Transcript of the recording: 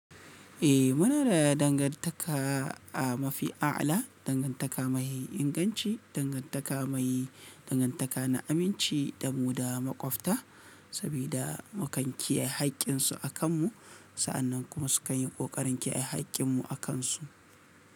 Eh muna da dangantaka a mafi a'ala, dangantaka mai inganci, dangantaka mai dangantaka na aminci da mu da maƙwabta sabida mu kan kiyaye haƙƙinsu a kanmu. Sa'annan kuma sukan yi ƙoƙarin kiyaye haƙƙinmu a kansu.